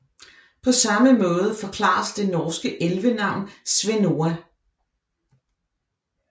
På samme måde forklares det norske elvenavn Svenoa